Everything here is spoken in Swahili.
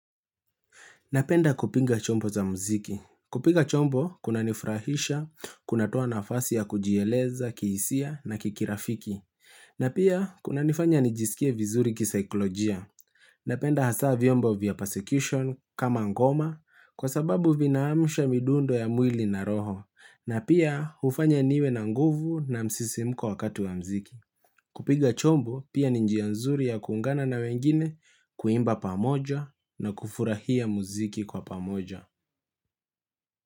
Napenda kupinga chombo za mziki. Kupinga chombo, kunanifurahisha, kunatoa nafasi ya kujieleza kihisia na kikirafiki. Na pia, kunanifanya nijisikie vizuri kisaiklojia. Napenda hasa vyombo vya persecution kama ngoma kwa sababu vinaamusha midundo ya mwili na roho. Na pia, hufanya niwe na nguvu na msisimko wakati wa muziki. Kupiga chombo pia ni njia nzuri ya kuungana na wengine kuimba pamoja na kufurahia muziki kwa pamoja.